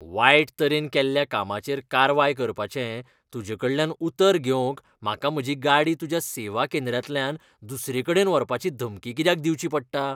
वायट तरेन केल्ल्या कामाचेर कारवाय करपाचें तूजेकडल्यान उतर घेवंक म्हाका म्हजी गाडी तुज्या सेवा केंद्रांतल्यान दुसरेकडेन व्हरपाची धमकी कित्याक दिवची पडटा?